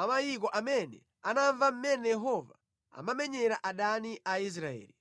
a mayiko amene anamva mmene Yehova anamenyera adani a Aisraeli.